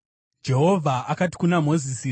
Jehovha akati kuna Mozisi,